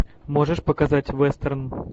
можешь показать вестерн